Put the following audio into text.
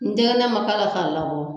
N denkɛg ne ma fa lakɔ